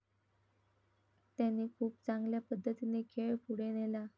त्यांनी खूप चांगल्या पद्धतीने खेळ पुढे नेला.